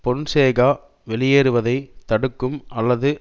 பொன்சேகா வெளியேறுவதை தடுக்கும் அல்லது